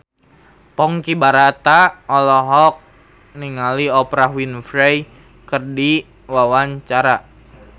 Ponky Brata olohok ningali Oprah Winfrey keur diwawancara